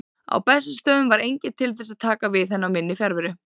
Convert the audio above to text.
Á Bessastöðum var enginn til þess að taka við henni í minni fjarveru.